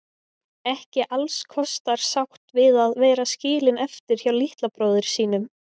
Ekki allskostar sátt við að vera skilin eftir hjá litla bróður sínum.